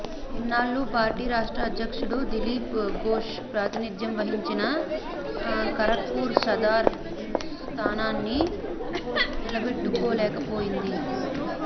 ఇన్నాళ్లూ party రాష్ట్ర అధ్యక్షుడు దిలీప్ ఘోష్ ప్రాతినిధ్యం వహించిన ఖరగ్పూర్ సదార్ స్థానాన్ని నిలబెట్టుకోలేకపోయింది